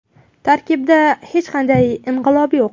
Tarkibda hech qanday inqilob yo‘q.